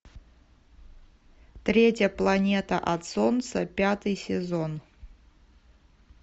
третья планета от солнца пятый сезон